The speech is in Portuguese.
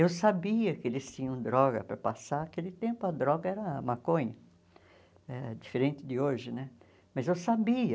Eu sabia que eles tinham droga para passar, aquele tempo a droga era maconha, eh diferente de hoje né, mas eu sabia.